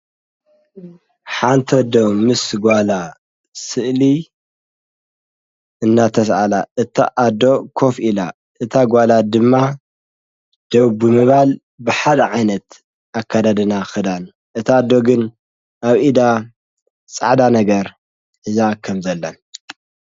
ሓንቲ ኣዶ ምስ ጓላ ስእሊ እናተሰኣላ እታ ኣዶ ኮፍ ኢላ እታ ጓላ ድማ ደው ብምባል ብሓደ ዓይነት ኣካዳድና ኽዳን እታ ኣዶግን ኣብ ኢዳ ፃዕዳ ነገር ሕዛ ከም ዘላን።